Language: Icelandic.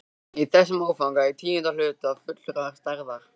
Í þessum áfanga í tíunda hluta fullrar stærðar.